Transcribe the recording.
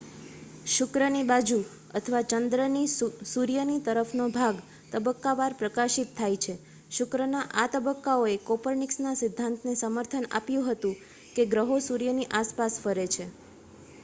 શુક્રની બાજુ અથવા ચંદ્રની સૂર્યની તરફનો ભાગ તબક્કાવાર પ્રકાશિત થાય છે. શુક્રના આ તબક્કાઓએ કોપરનિકસના સિદ્ધાંતને સમર્થન આપ્યું હતું કે ગ્રહો સૂર્યની આસપાસ ફરે છે